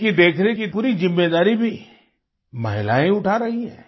इनकी देखरेख की पूरी जिम्मेदारी भी महिलाएँ ही उठा रही हैं